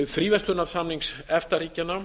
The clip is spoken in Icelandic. fríverslunarsamnings efta ríkjanna